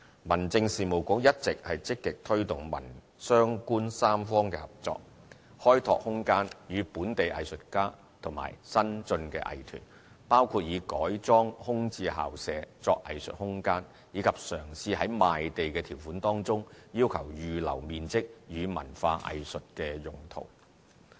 民政事務局一直積極推動民、商、官三方合作，開拓空間予本地藝術家和新進藝團，包括以改裝空置校舍作藝術空間，以及嘗試於賣地條款中要求預留面積予文化藝術用途。